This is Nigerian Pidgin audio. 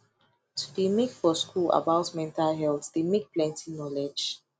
to de make for school about mental health de make plenty knowlege